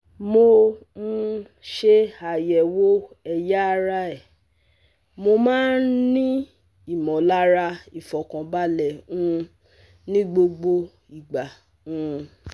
Mo um ṣe àyẹ̀wò ẹ̀yà ara ẹ Mo máa ń ní ìmọ̀lára ìfọ̀kànbalẹ̀ um ní gbogbo ìgbà um